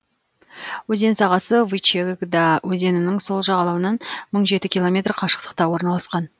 өзен сағасы вычегда өзенінің сол жағалауынан мың жеті километр қашықтықта орналасқан